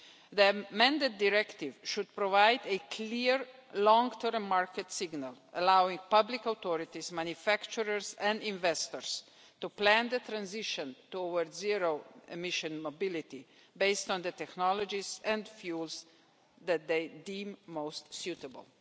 The amended directive should provide a clear long term market signal allowing public authorities, manufacturers and investors to plan the transition towards zero-emission mobility, based on the technologies and fuels that they deem most suitable.